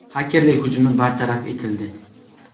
Xakerlik hujumi bartaraf etildi.